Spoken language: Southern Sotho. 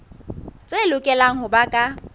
tse lokelang ho ba ka